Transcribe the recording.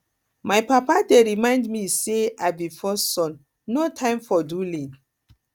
my papa dey remind me say i be first son no time for dulling